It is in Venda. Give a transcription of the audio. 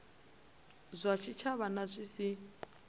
zwa tshitshavha na zwi si